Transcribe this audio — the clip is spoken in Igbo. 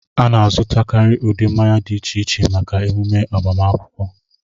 A na-azụkarị ụdị mmanya dị iche iche maka emume agbamakwụkwọ